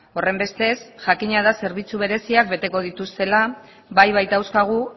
horrenbestez jakina da zerbitzu bereziak beteko dituztela bai baitauzkagu